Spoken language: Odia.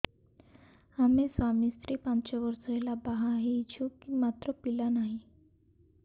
ଆମେ ସ୍ୱାମୀ ସ୍ତ୍ରୀ ପାଞ୍ଚ ବର୍ଷ ହେଲା ବାହା ହେଇଛୁ ମାତ୍ର ପିଲା ନାହିଁ